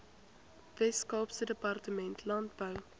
weskaapse departement landbou